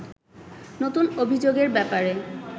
নতুন অভিযোগের ব্যাপারে